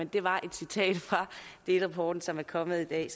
det var et citat fra delrapporten som er kommet i